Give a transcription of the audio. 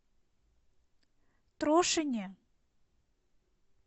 трошине